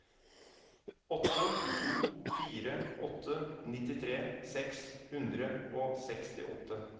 åtte to fire åtte nittitre seks hundre og sekstiåtte